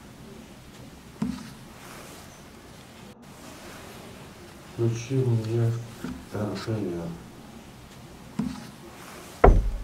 включи мне ртр